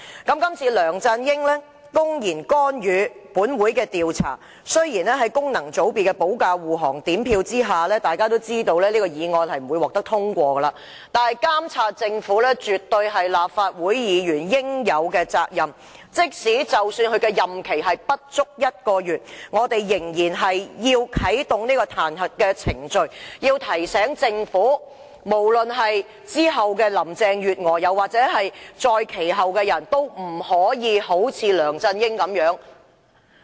今次梁振英公然干預本會調查，雖然在功能界別的保駕護航及分組點票之下，這項議案不會獲得通過，但監察政府絕對是立法會議員應有的責任，即使其任期不足1個月，我們仍然要啟動彈劾程序，提醒政府，無論是之後的林鄭月娥，又或是再之後的人，都不可像梁振英那樣。